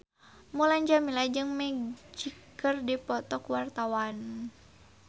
Mulan Jameela jeung Magic keur dipoto ku wartawan